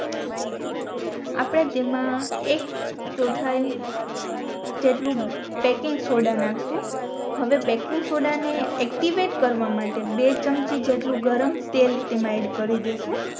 આપણે જેમાં એક ચૌઠાઈ જેટલું બેકિંગ સોદા નાખશુ હવે બેકિંગ સોદા ને એક્ટિવેટ કરવા માટે બે ચમચી જેટલું ગરમ તેલ તેમાં એડ કરી દેસું